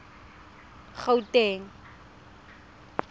gauteng